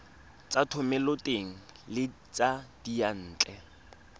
tsa thomeloteng le tsa diyantle